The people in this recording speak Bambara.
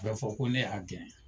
U ba fɔ ko ne y'a gɛn.